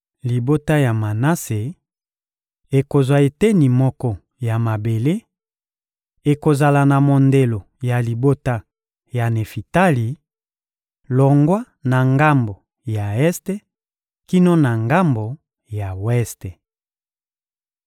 Libota ya Manase ekozwa eteni moko ya mabele: ekozala na mondelo ya libota ya Nefitali, longwa na ngambo ya este kino na ngambo ya weste.